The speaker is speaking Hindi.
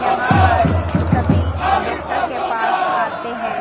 यहां पर सभी डॉक्टर के पास आते हैं